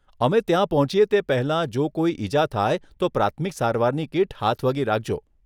અમે ત્યાં પહોંચીએ તે પહેલાં જો કોઈ ઈજા થાય તો પ્રાથમિક સારવારની કીટ હાથવગી રાખજો.